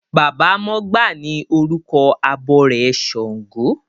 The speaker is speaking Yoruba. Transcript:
Baba mọgbà ni orúkọ abọrẹ̀ ṣàngó.